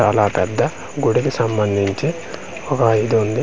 చాలా పెద్ద గుడికి సంబందించి ఒక ఇది వుంది .